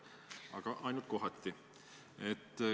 Aga ainult kohati.